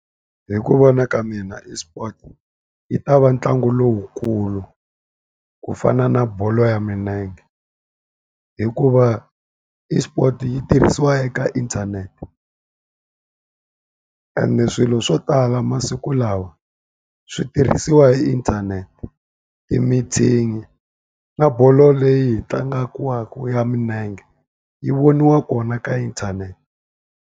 Hi ku vona ka mina eSport yi ta va ntlangu lowukulu ku fana na bolo ya milenge. Hikuva eSports yi tirhisiwa eka inthanete, ende swilo swo tala masiku lawa swi tirhisiwa hi inthanete. Ti-meeting na bolo leyi yi tlangiwaka ya milenge, yi voniwa kona ka inthanete.